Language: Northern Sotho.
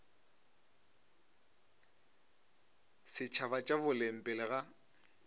setšhaba tša boleng pele ga